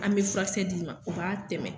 An be furakisɛ d'i ma o b'a tɛmɛ.